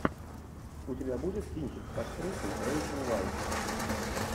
у тебя будет кинчик с актрисой рэйчел вайс